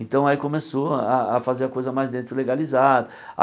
Então aí começou a a fazer a coisa mais dentro legalizado.